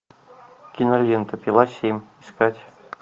кинолента пила семь искать